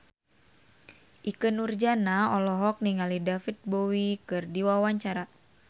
Ikke Nurjanah olohok ningali David Bowie keur diwawancara